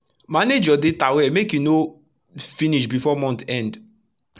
manage ur data well make e no finish before month end